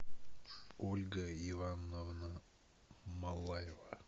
ольга ивановна малаева